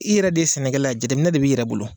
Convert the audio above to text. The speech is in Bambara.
I yɛrɛ de ye sɛnɛkɛla ye a jateminɛ de b'i yɛrɛ bolo.